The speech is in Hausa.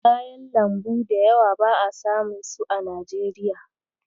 Kayan lambu da yawa ba'a samu su a Najeriya.